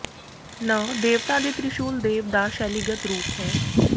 ਨ ਦੇਵਤਾ ਦੇ ਤ੍ਰਿਸ਼ੂਲ ਦੇਵ ਦਾ ਸ਼ੈਲੀਗਤ ਰੂਪ ਹੈ